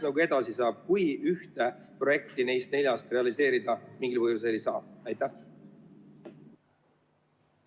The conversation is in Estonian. Mis siis edasi saab, kui ühte projekti neist neljast mingil põhjusel realiseerida ei saa?